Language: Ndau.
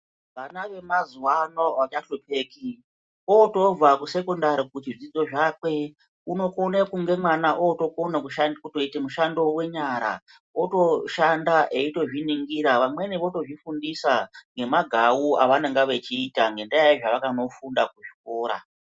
Vana vemazuwa ano avahlupheki votobva kusekendari kuzvidzidzo zvakwe, unokone kunge mwana otokona kusha kutoite mushando wenyara, otoshanda, eitozviningira. Vamweni votozvifundisa ngemagawu evanonga vechiita ngendaa yezvavakanofunda kuchikora.